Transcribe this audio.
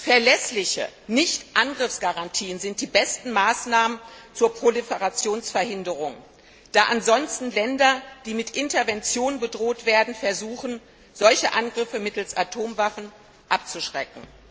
Verlässliche Nichtangriffsgarantien sind die besten Maßnahmen zur Proliferationsverhinderung, da ansonsten Länder, die mit Intervention bedroht werden, versuchen, solche Angriffe mittels Atomwaffen abzuschrecken.